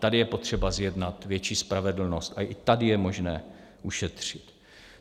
Tady je potřeba zjednat větší spravedlnost a i tady je možné ušetřit.